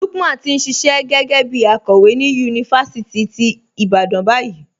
Lúkman ti n ṣíṣẹ̀ gé̩gẹ̩ bí àkòwé ni yunifásítì tí Ìbàdàn bayìí.